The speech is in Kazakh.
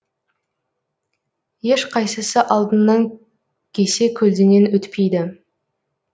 ешқайсысы алдыңнан кесе көлденең өтпейді